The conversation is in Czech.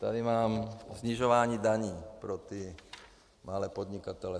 Tady mám snižování daní pro ty malé podnikatele.